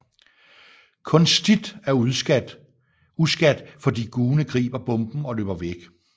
Kun Stith er uskadt fordi Gune griber bomben og løber væk